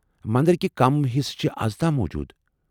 مندرٕکہِ کٔم حصہٕ چھ آز تام موُجوُد ؟